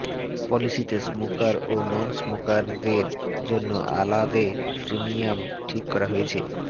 পলিসিতে স্মোকার ও নন স্মোকারদের জন্য আলাদে প্রিমিয়াম ঠিক করা হয়েছে